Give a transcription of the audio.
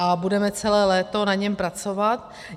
A budeme celé léto na něm pracovat.